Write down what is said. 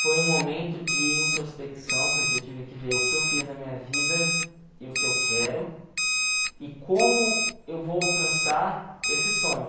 Foi um momento de introspecção, porque eu tive que ver o que eu fiz na minha vida e o que eu quero e como eu vou alcançar esse sonho.